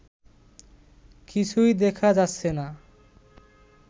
কিছুই দেখা যাচ্ছে না